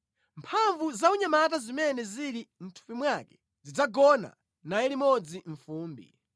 Mphamvu zaunyamata zimene zili mʼthupi mwake zidzagona naye limodzi mʼfumbi.